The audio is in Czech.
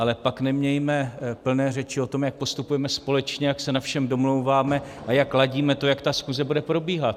Ale pak nemějme plné řeči o tom, jak postupujeme společně, jak se na všem domlouváme a jak ladíme to, jak ta schůze bude probíhat.